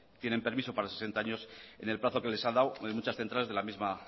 tienen permiso para sesenta años en el plazo que les ha dado en muchas centrales de la misma